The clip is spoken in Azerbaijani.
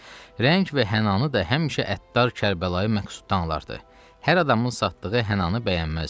Rəng və hənani də həmişə əttar Kərbalayı Məqsuddan alırdı, hər adamın satdığı hənani bəyənməzdi.